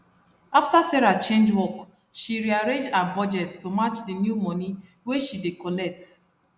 after sarah change work she rearrange her budget to match the new money wey she dey collect